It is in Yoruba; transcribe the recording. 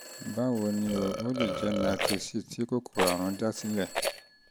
báwo ni um o? ó lè jẹ́ myositis tí kòkòrò àrùn dá sílẹ̀